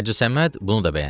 Hacı Səməd bunu da bəyəndi.